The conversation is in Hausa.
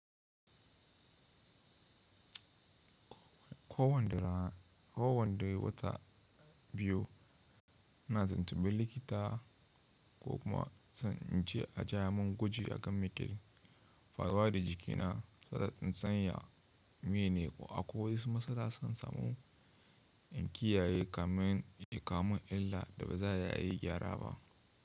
Ko wanda wata biyu na tuntuɓe likita ko kuma zan wuce a ja mun gwaji akan mike faruwa da jikina, sata tsintsiya, miyane ko akwai wasu matsala dana samu in kiyaye kamin illa da ba za a yi gyara ba.